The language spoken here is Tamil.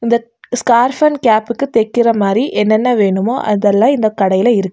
இத ஸ்கார்ஃப் அன்ட் கேப்க்கு தெக்கற மாரி என்னென்ன வேணுமோ அதெல்லா இந்த கடையில இருக்கு.